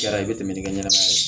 Jara i bɛ tɛmɛ ni ka ɲɛnɛmaya la